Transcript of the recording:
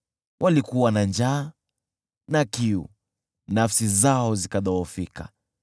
Walikuwa na njaa na kiu, nafsi zao zikadhoofika.